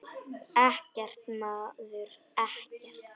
Ekkert, maður, ekkert.